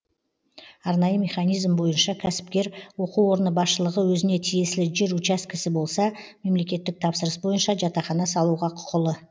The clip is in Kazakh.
арнайы механизм бойынша кәсіпкер оқу орны басшылығы өзіне тиесілі жер учаскесі болса мемлекеттік тапсырыс бойынша жатақхана салуға құқылы